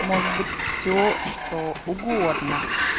может быть всё что угодно